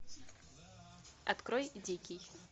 открой дикий